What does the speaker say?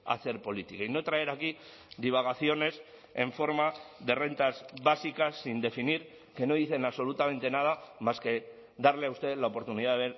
hacer política y no traer aquí divagaciones en forma de rentas básicas sin definir que no dicen absolutamente nada más que darle a usted la oportunidad